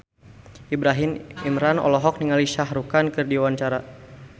Ibrahim Imran olohok ningali Shah Rukh Khan keur diwawancara